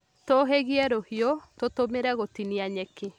Tũũhĩgie rũhiũ, tũtũmĩre gũtinia nyeki